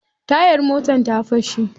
Tayar motar ta fashe.